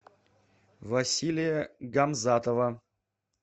василия гамзатова